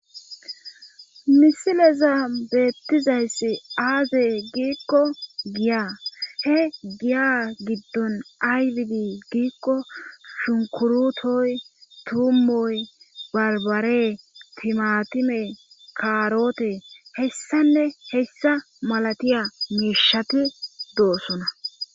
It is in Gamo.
misileza beettizayssi aaze giikko giya he giya giddon aywidi giikko shunkurutoy tuummoy barbare timatime kaaroote hessanne hessa malatiya miishati doosona